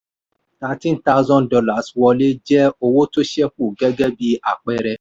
thirteen thousand dollars wọlé jẹ́ owó tó ṣẹ̀kù gẹ́gẹ́ bí àpẹẹrẹ.